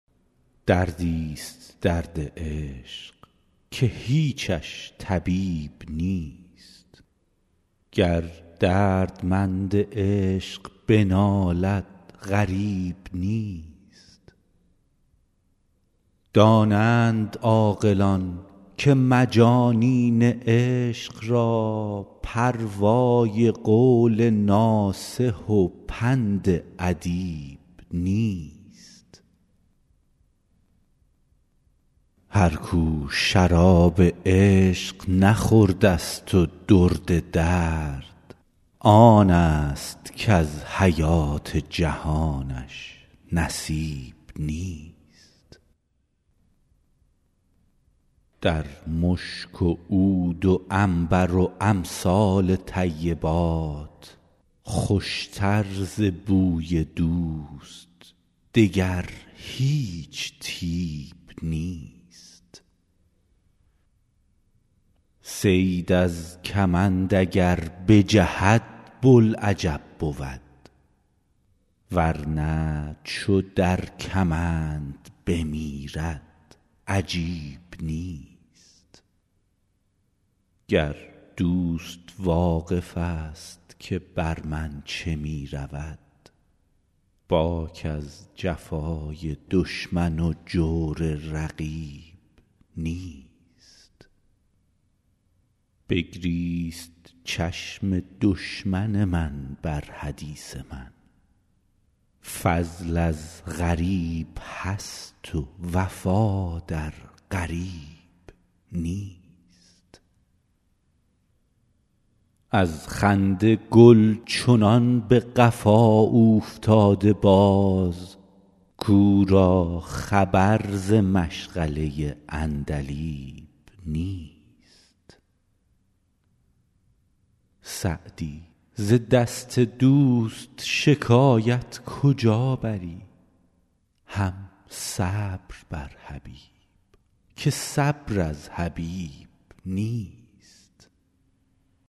دردی ست درد عشق که هیچش طبیب نیست گر دردمند عشق بنالد غریب نیست دانند عاقلان که مجانین عشق را پروای قول ناصح و پند ادیب نیست هر کو شراب عشق نخورده ست و درد درد آن ست کز حیات جهانش نصیب نیست در مشک و عود و عنبر و امثال طیبات خوش تر ز بوی دوست دگر هیچ طیب نیست صید از کمند اگر بجهد بوالعجب بود ور نه چو در کمند بمیرد عجیب نیست گر دوست واقف ست که بر من چه می رود باک از جفای دشمن و جور رقیب نیست بگریست چشم دشمن من بر حدیث من فضل از غریب هست و وفا در قریب نیست از خنده گل چنان به قفا اوفتاده باز کو را خبر ز مشغله عندلیب نیست سعدی ز دست دوست شکایت کجا بری هم صبر بر حبیب که صبر از حبیب نیست